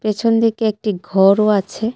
পিছন দিকে একটি ঘরও আছে.